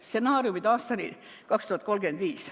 Stsenaariumid aastani 2035".